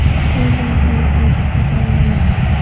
Bu loyihaga, albatta, tayyormiz.